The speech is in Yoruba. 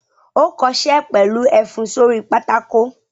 Ó kọṣẹ́ pẹ̀lú ẹfun sórí pátákó!